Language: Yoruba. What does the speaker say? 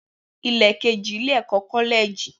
Ilẹ keji, Ile-ẹkọ Kọlẹji.